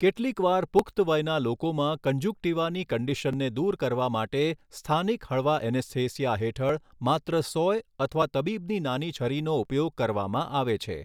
કેટલીક વાર પુખ્ત વયના લોકોમાં કન્જુક્ટીવાની કંડિશનને દૂર કરવા માટે સ્થાનિક હળવા એનેસ્થેસિયા હેઠળ માત્ર સોય અથવા તબીબની નાની છરીનો ઉપયોગ કરવામાં આવે છે.